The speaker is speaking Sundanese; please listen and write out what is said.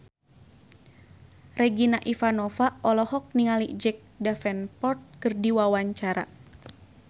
Regina Ivanova olohok ningali Jack Davenport keur diwawancara